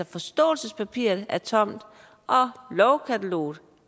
forståelsespapiret er tomt og lovkataloget